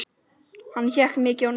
Hann hékk mikið á netinu.